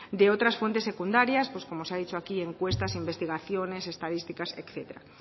de otras fuentes secundarias como se ha dicho aquí encuestas investigaciones estadísticas etcétera